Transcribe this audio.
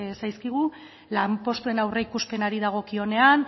zaizkigu lanpostuen aurreikuspenari dagokionean